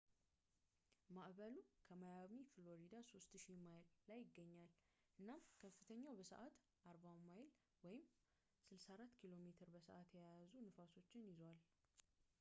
ማዕበሉ ከማያሚ፣ ፍሎሪዳ 3000 ማይል ላይ ይገኛል እናም በከፍተኛው በሰዓት 40ሚይል 64ኪ.ሜ በ ሰዓት የያዙ ንፋሶችን ይዟል